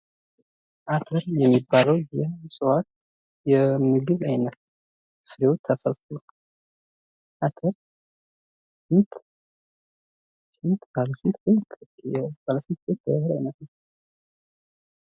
አተር የሚባለው የእፅዋት የምግብ አይነት ሲሆን አተር ስንት ስንት ባለ ስንት ስንት የህል አይነት ነው?